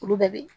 Olu bɛɛ bɛ